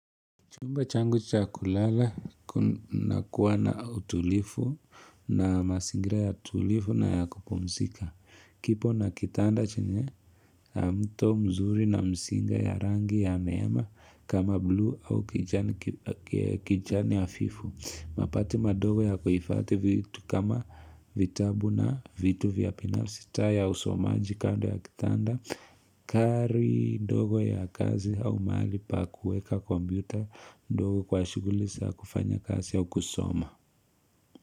Chumba changu cha kulala, nakuwa na utulivu na mazingira ya tulivu na ya kupumzika. Kipo na kitanda chenye, mto mzuri na msinga ya rangi ya neema kama blue au kijani hafifu. Makabati madogo ya kuhifati vitu kama vitabu na vitu vya binafi taa ya usomaji kando ya kitanda. Kari ndogo ya kazi au mahali pa kuweka computer ndogo kwa shuguli za kufanya kazi au ukusoma.